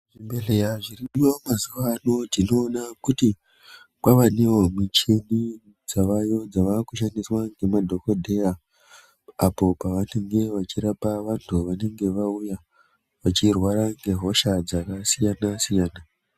zvibhehleya zvinodiwa mazuvano tinoona kuti kwavanewo michini dzavayo dzavakushandiswa ngemadhogodheya apo pavanenge vachirapa vantu vanenge vauya vachirwara ngehosha dzakasiyana-siyana.